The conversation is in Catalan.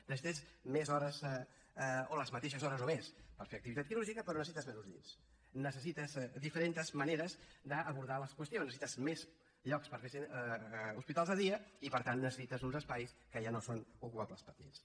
necessites més hores o les mateixes hores o més per fer activitat quirúrgica però necessites menys llits necessites diferents maneres d’abordar les qüestions necessites més llocs per fer hospitals de dia i per tant necessites uns espais que ja no són ocupables per llits